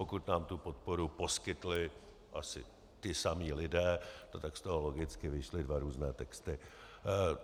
Pokud nám tu podporu poskytli asi ti samí lidí, no tak z toho logicky vyšly dva různé texty.